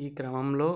ఈ క్రమంలో